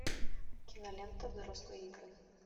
кинолента взрослые игры